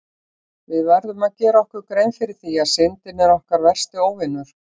Við verðum að gera okkur grein fyrir því að Syndin er okkar versti óvinur!